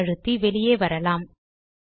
Q ஐ அழுத்தி வெளியே வரலாம்